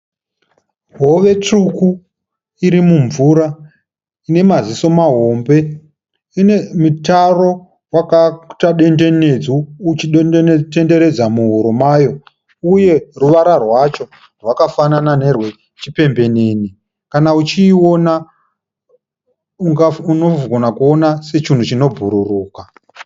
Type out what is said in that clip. Hove tsvuku iri mumvura ine maziso mahombe ine mitaro wakaita dendenedzo uchitenderedza muhuro mayo uye ruvara rwacho rwakafanana nerwechipembembenene, kana uchiiona unogona kuona sechinhu chinobhururuka.